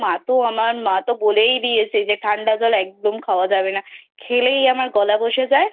মা তো আমার মা তো বলেই দিয়েছে ঠান্ডা জল একদম খাওয়া যাবে না খেলেই আমার গলা বসে যায়